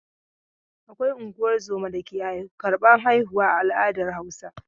Akwai unguwar zoma dake karban haihuwa a al'adar Hausa.